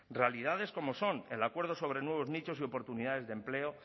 realidades como son el acuerdo sobre nuevos nichos de oportunidades de empleo